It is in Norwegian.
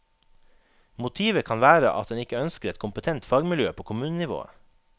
Motivet kan være at en ikke ønsker et kompetent fagmiljø på kommunenivået.